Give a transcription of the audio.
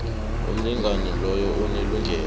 umlingani loyo unelungelo